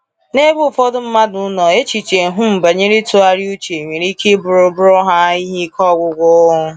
N’ebe ụfọdụ mmadụ nọ, echiche um banyere ịtụgharị uche nwere ike ị bụrụ bụrụ ha ihe ike ọgwụgwụ.